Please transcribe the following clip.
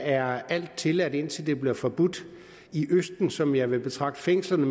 er alt tilladt indtil det bliver forbudt i østen som jeg mere vil betragte fængslerne